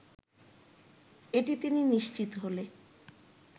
এটি তিনি নিশ্চিত হলে